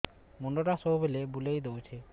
ମୁଣ୍ଡଟା ସବୁବେଳେ ବୁଲେଇ ଦଉଛି